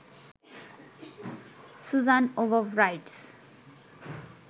Suzanne ওবব rights